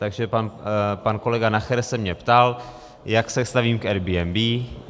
Takže pan kolega Nacher se mě ptal, jak se stavím k Airbnb.